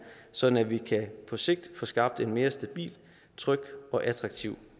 sådan at vi på sigt kan få skabt en mere stabil tryg og attraktiv